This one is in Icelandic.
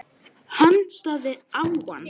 Hann starði á hann.